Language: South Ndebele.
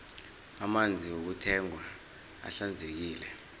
amanzi wokuthengwa ahlanzekile